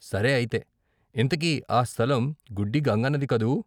సరే అయితే ఇంతకీ ఆ స్థలం గుడ్డి గంగన్నది కదూ!